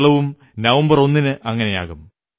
കേരളവും നവംബർ ഒന്നിന് അങ്ങനെയാകും